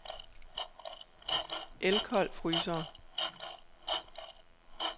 Elcold Frysere